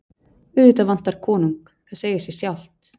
Auðvitað vantar konung, það segir sig sjálft.